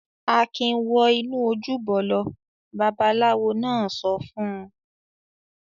"Akin wọ inú ojúbọ lọ!" Babaláwo náà sọ fún un.